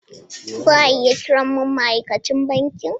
Za a iya kiran mun ma'aikacin banki?